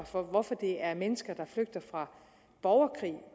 for at det er mennesker der flygter fra borgerkrig